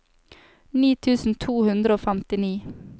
ni tusen to hundre og femtini